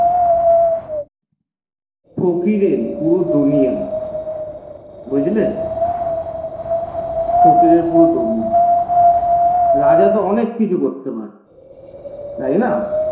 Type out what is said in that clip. ফকিরের পুরো দুনিয়া বুঝলে ফকিরের পুরো দুনিয়া রাজা তো অনেককিছু করতে পারে তাই না?